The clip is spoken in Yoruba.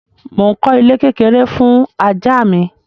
Mo ń kọ́ ilé kékeré fún ajá mi.